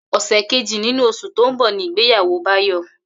Ò̩sè̩ kejì nínú os̩ù tó ń bò̩ ní ìgbéyàwó Báyò̩